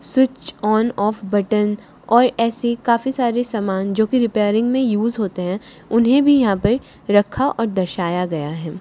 Switch on off button और ऐसी काफी सारे समान जोकि रिपेयरिंग मे यूस होते है उन्हें भी यहां पे रखा और दर्शाया गया है।